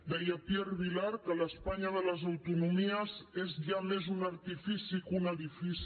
deia pierre vilar que l’espanya de les autonomies és ja més un artifici que un edifici